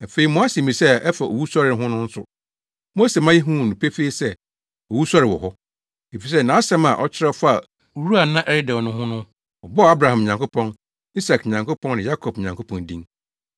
Afei mo asɛmmisa a ɛfa owusɔre ho no nso, Mose maa yehuu no pefee sɛ, owusɔre wɔ hɔ. Efisɛ nʼasɛm a ɔkyerɛw faa wura a na ɛredɛw no ho no, ɔbɔɔ Abraham Nyankopɔn, Isak Nyankopɔn ne Yakob Nyankopɔn din.